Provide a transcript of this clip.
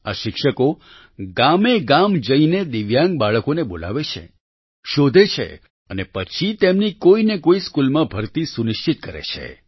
આ શિક્ષકો ગામેગામ જઈને દિવ્યાંગ બાળકોને બોલાવે છે શોધે છે અને પછી તેમની કોઈ ને કોઈ સ્કૂલમાં ભરતી સુનિશ્ચિત કરે છે